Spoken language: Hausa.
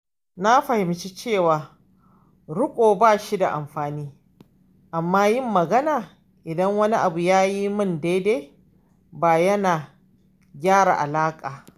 Na fahimci cewa riƙo bashi da amfani, amma yin magana idan wani abu bai yi min daidai ba yana gyara alaƙa.